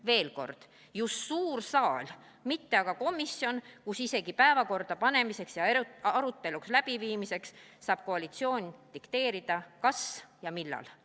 Veel kord: just suur saal, mitte aga komisjon, kus isegi päevakorda panemiseks ja arutelu läbiviimiseks saab koalitsioon dikteerida, kas ja millal.